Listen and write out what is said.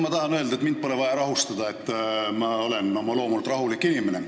Ma tahan öelda, et mind pole vaja rahustada – ma olen oma loomult rahulik inimene.